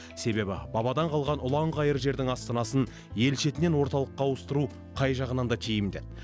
себебі бабадан қалған ұланғайыр жердің астанасын ел шетінен орталыққа ауыстыру қай жағынан да тиімді еді